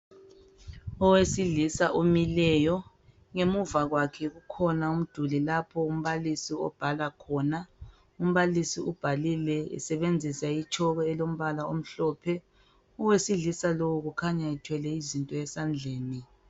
Owesilisa omileyo ngemuva kwakhe kukhona umduli lapho umbalisi obhala khona. Umbalisi ubhalile esebenzisa itshoko elombala omhlophe. Owesilisa lowu kukhanya ethwele izinto esandleni.